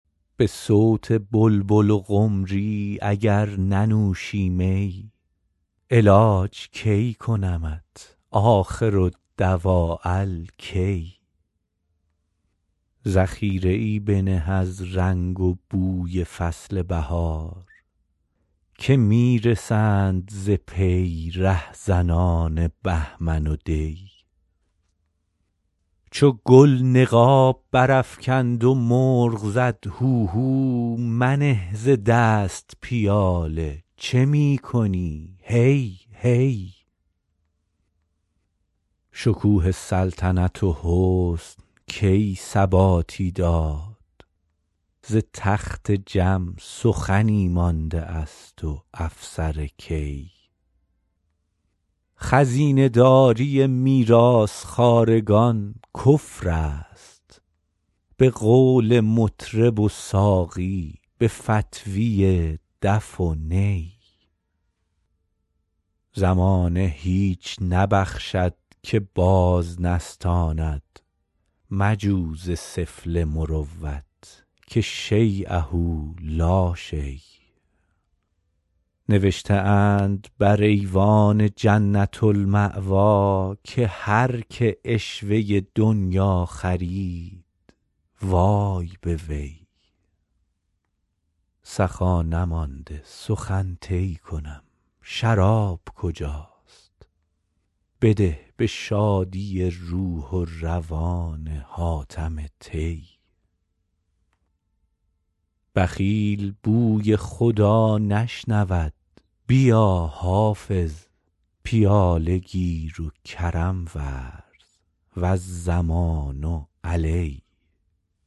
به صوت بلبل و قمری اگر ننوشی می علاج کی کنمت آخرالدواء الکی ذخیره ای بنه از رنگ و بوی فصل بهار که می رسند ز پی رهزنان بهمن و دی چو گل نقاب برافکند و مرغ زد هوهو منه ز دست پیاله چه می کنی هی هی شکوه سلطنت و حسن کی ثباتی داد ز تخت جم سخنی مانده است و افسر کی خزینه داری میراث خوارگان کفر است به قول مطرب و ساقی به فتویٰ دف و نی زمانه هیچ نبخشد که باز نستاند مجو ز سفله مروت که شییه لا شی نوشته اند بر ایوان جنة الماویٰ که هر که عشوه دنییٰ خرید وای به وی سخا نماند سخن طی کنم شراب کجاست بده به شادی روح و روان حاتم طی بخیل بوی خدا نشنود بیا حافظ پیاله گیر و کرم ورز و الضمان علی